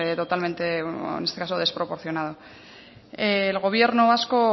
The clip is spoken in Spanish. totalmente en este caso desproporcionado el gobierno vasco